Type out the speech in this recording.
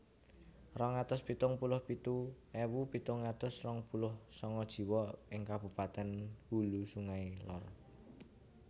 Rong atus pitung puluh pitu ewu pitung atus rong puluh sanga jiwa ing kabupatèn Hulu Sungai Lor